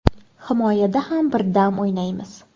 Himoyada ham birdam o‘ynaymiz.